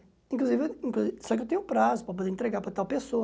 Inclusive inclu só que eu tenho prazo para poder entregar para tal pessoa.